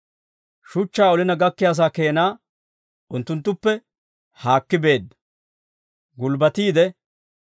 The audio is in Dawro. Shuchchaa olina gakkiyaasaa keena unttunttuppe haakki beedda. Gulbbatiide,